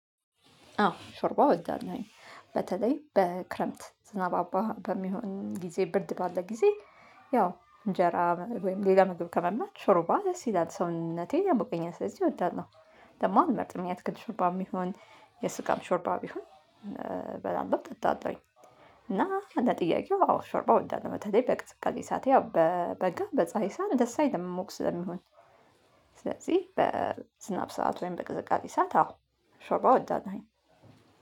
አዎ ሾርባ እወዳለሁኝ። በተለይ በክረምት ዝናባማ በሚሆን ጊዜ ብርድ ባለ ጊዜ ያው እንጀራ ወይም ሌላ ምግብ ከመመገብ ሾርባ ደስ ይላል። ሰውነቴን ያሞቀኛል። ስለዚህ እወዳለሁ። ደግሞ አልመርጥም። የአትክልት ሾርባ ቢሆን የስጋም ሾርባ ቢሆን እበላለሁ፣ እጠጣለሁኝ። እና እንደ ጥያቄው አዎ ሾርባ እወዳለሁኝ። በተለይ በቅዝቃዜ ሰዓት በበጋ በፀሀይ ሰዓት ደስ አይደለም ሙቅ ስለሚሆን። ስለዚህ በዝናብ ሰዓት ወይም በቅዝቃዜ ሰዓት አዎ ሾርባ እወዳለሁ።